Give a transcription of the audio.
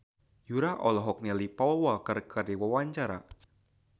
Yura olohok ningali Paul Walker keur diwawancara